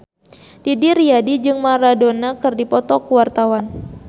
Didi Riyadi jeung Maradona keur dipoto ku wartawan